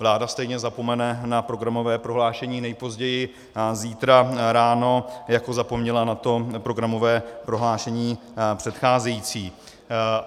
Vláda stejně zapomene na programové prohlášení nejpozději zítra ráno, jako zapomněla na to programové prohlášení předcházející.